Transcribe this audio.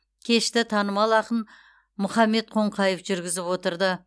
кешті танымал ақын мұхаммед қонқаев жүргізіп отырды